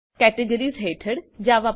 categories હેઠળ જાવા